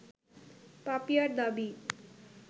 পাপিয়ার দাবি